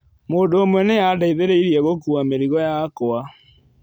Mũndũ ũmwe nĩ aandeithirie gũkuua mĩrigo yakwa.